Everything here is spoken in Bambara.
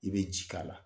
I bɛ ji k'a la